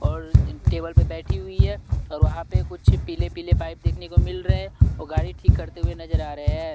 और टेबल पर बैठी हुई है और वहां पे कुछ पीले पीले पाइप देखने को मिल रहे हैं और गाड़ी ठीक करते हुए नजर आ रहे हैं।